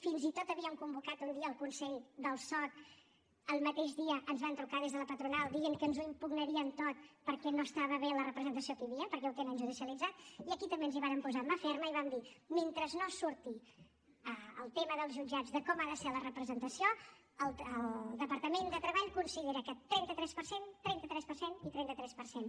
fins i tot havíem convocat un dia el consell del soc el mateix dia ens van trucar des de la patronal dient que ens ho impugnarien tot perquè no estava bé la representació que hi havia perquè ho tenen judicialitzat i aquí també ens hi vàrem posar amb mà ferma i vam dir mentre no surti el tema dels jutjats de com ha de ser la representació el departament de treball considera que trenta tres per cent trenta tres per cent i trenta tres per cent